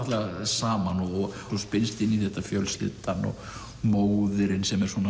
saman og svo spinnst inn í þetta fjölskyldan og móðirin sem er svona